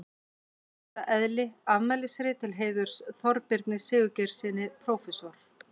Í hlutarins eðli: Afmælisrit til heiðurs Þorbirni Sigurgeirssyni prófessor.